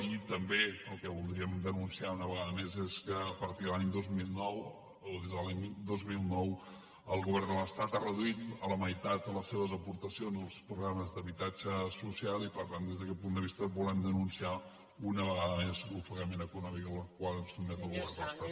i també el que voldríem denunciar una vegada més és que a partir de l’any dos mil nou o des de l’any dos mil nou el govern de l’estat ha reduït a la meitat les seves aportacions als programes d’habitatge social i per tant des d’aquest punt de vista volem denunciar una vegada més l’ofegament econòmic en el qual ens sotmet el govern de l’estat